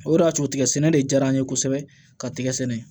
O de y'a to tigɛ sɛnɛ de diyara an ye kosɛbɛ ka tigɛ sɛnɛ